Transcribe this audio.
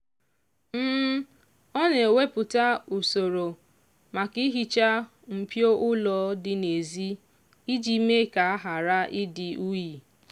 ọ na-ewepụta usoro maka ihicha mpio ụlọ dị n'ezi iji mee ka ghara ịdi unyi